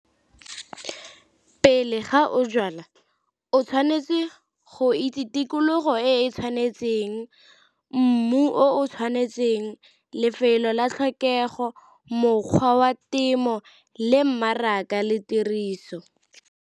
Pele ga o jala o tshwanetse go itse tikologo e e tshwanetseng, mmu o tshwanetseng, lefelo la tlhokego, mokgwa wa temo le mmaraka le tiriso.